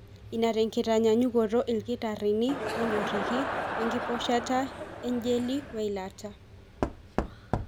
Ena tenkitanyanyukoto, ilkitarini onyoriki enkiposhiposhata, ejeli, weilata.